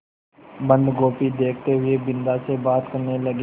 बन्दगोभी देखते हुए बिन्दा से बात करने लगे